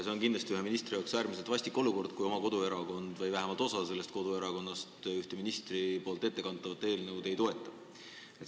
See on kindlasti ühe ministri jaoks äärmiselt vastik olukord, kui oma koduerakond või vähemalt osa sellest esitletavat eelnõu ei toeta.